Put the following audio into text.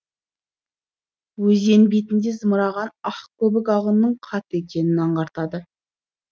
өзен бетінде зымыраған ақ көбік ағынның қатты екенін аңғартады